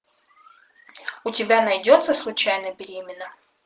у тебя найдется случайно беременна